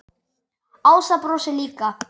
Ása brosir líka.